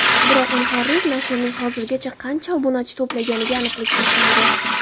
Biroq muharrir nashrning hozirgacha qancha obunachi to‘plaganiga aniqlik kiritmadi.